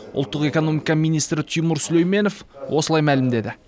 ұлттық экономика министрі тимур сүлейменов осылай мәлімдеді